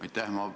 Aitäh!